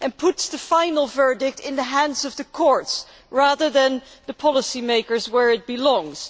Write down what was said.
It puts the final verdict in the hands of the courts, rather than the policy makers, where it belongs.